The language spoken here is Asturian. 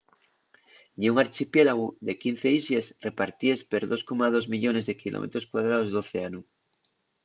ye un archipiélagu de 15 islles repartíes per 2,2 millones de km2 d'océanu